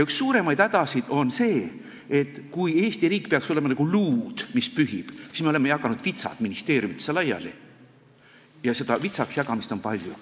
Üks suuremaid hädasid on see, et kui Eesti riik peaks olema nagu luud, mis pühib, oleme meie jaganud vitsad ministeeriumidesse laiali ja seda vitsadeks jagamist on palju.